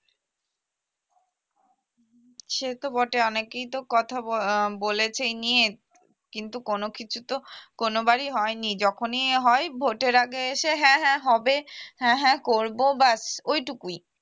সে তো বটে অনেকেই তো কথা আহ উম বলেছে এই নিয়ে, কিন্তু কোন কিছু তো কোনো বারেই হয়নি যখনই হয়ে ভোটের আগে এসে হ্যাঁ হ্যাঁ হবে হ্যাঁ হ্যাঁ করব ব্যাস ঐটুকুই